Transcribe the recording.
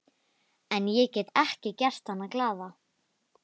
En ég get ekki gert hana glaða.